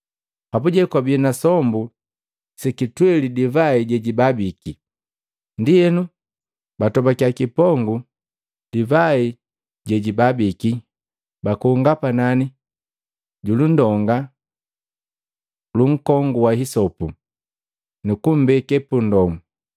Papuje kwabii na sombu sekitweli divai jejibabiki. Ndienu batobakiya kipongu divai jejibabiki, bakonga panani julundonga lunkongu wa hisopu, nukumbeke pundomu.